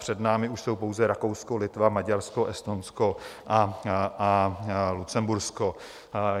Před námi už jsou pouze Rakousko, Litva, Maďarsko, Estonsko a Lucembursko.